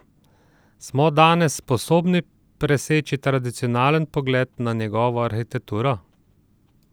Smo danes sposobni preseči tradicionalen pogled na njegovo arhitekturo?